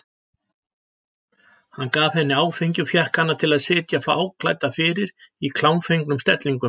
Hann gaf henni áfengi og fékk hana til að sitja fáklædda fyrir í klámfengnum stellingum.